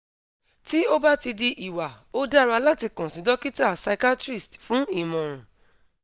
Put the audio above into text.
ti o ba ti di iwa o dara lati kan si dokita psychiatrist fun imoran